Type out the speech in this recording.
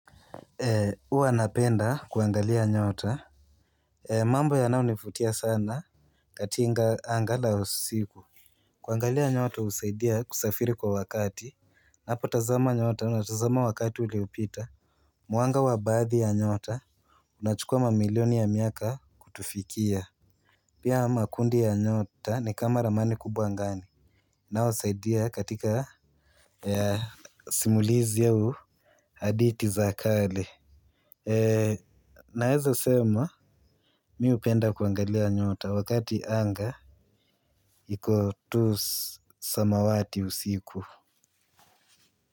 Huwa napenda kuangalia nyota. Mambo yanayonifutia sana katinga anga la usiku. Kuangalia nyota usaidia kusafiri kwa wakati. Napotazama nyota natazama wakati uliopita. Mwanga wa baathi ya nyota unachukua mamilioni ya miaka kutufikia. Pia makundi ya nyota ni kama ramani kubwa angani. Naosaidia katika ya simulizi au haditi za kale. Naeza sema mi upenda kuangalia nyota wakati anga iko tu samawati usiku.